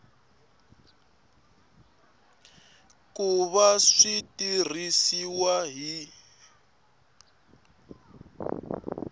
ku va swi tirhisiwa hi